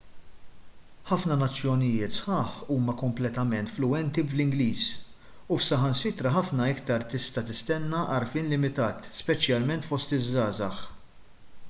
ħafna nazzjonijiet sħaħ huma kompletament fluwenti bl-ingliż u f'saħansitra ħafna iktar tista' tistenna għarfien limitat speċjalment fost iż-żgħażagħ